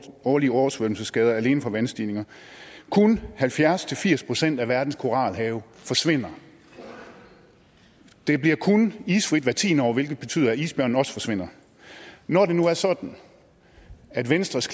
årlige oversvømmelsesskader alene på vandstigninger og kun halvfjerds til firs procent af verdens koralrev forsvinder det bliver kun isfrit hvert tiende år hvilket betyder at isbjørnen også forsvinder når det nu er sådan at venstres